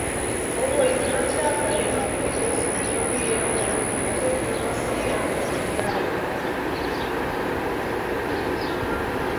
owó ìfiránṣé àgbáyé náà kọ ló san torí ẹbọ àánú tó fi rán sí agbègbè ìyá rẹ